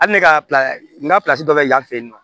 Hali ne ka n ka dɔ bɛ yan fɛ yen nɔ